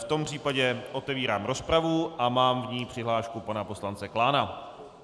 V tom případě otevírám rozpravu a mám v ní přihlášku pana poslance Klána.